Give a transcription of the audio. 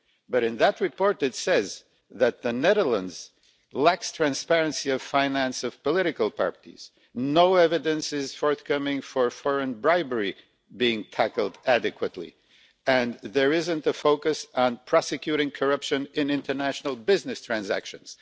but in that report it says that the Netherlands lacks transparency in the financing of political parties, no evidence is forthcoming of foreign bribery being tackled adequately and there is not a focus on prosecuting corruption in international business transactions.